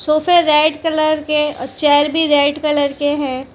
सोफे red colour के chair red colour के हैं।